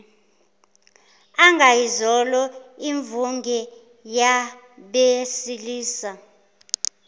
angayizolo imvunge yabesilisa